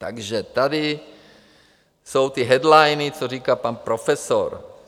Takže tady jsou ty headliny, co říká pan profesor.